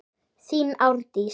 Þín Árdís.